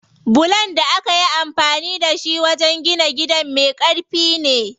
Bulon da akayi amfani da shi wajen gina gidan me ƙarfi ne.